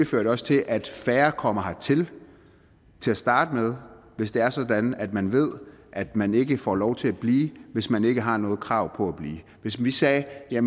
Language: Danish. fører til at færre kommer til til at starte med hvis det er sådan at man ved at man ikke får lov til at blive hvis man ikke har noget krav på at blive hvis vi sagde at